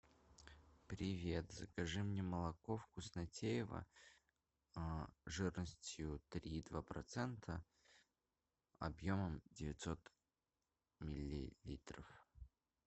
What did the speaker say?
привет закажи мне молоко вкуснотеево жирностью три и два процента объемом девятьсот миллилитров